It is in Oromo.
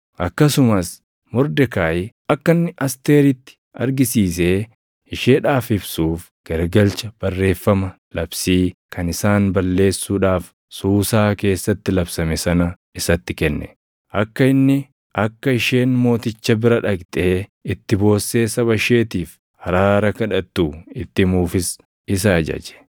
Akkasumas Mordekaayi akka inni Asteeritti argisiisee isheedhaaf ibsuuf garagalcha barreeffama labsii kan isaan balleessuudhaaf Suusaa keessatti labsame sana isatti kenne; akka inni akka isheen mooticha bira dhaqxee itti boossee saba isheetiif araara kadhattu itti himuufis isa ajaje.